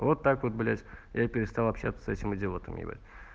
вот так вот блять я перестал общаться с этим идиотом ебать